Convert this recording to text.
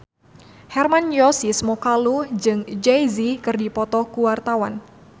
Hermann Josis Mokalu jeung Jay Z keur dipoto ku wartawan